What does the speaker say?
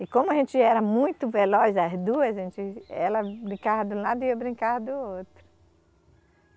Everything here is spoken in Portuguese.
E como a gente era muito veloz, as duas, a gente, ela brincava de um lado e eu brincava do outro.